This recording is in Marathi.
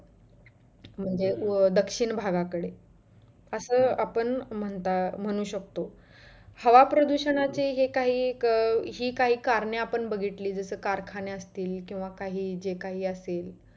दक्षिण भागाकडे असं आपण म्हणता म्हणु शकतो. हवा प्रदुषणाचे हे काही अं हि काही कारणे आपण बघितली, जस कि कारखाने असतील किंवा काही जे काही असतिल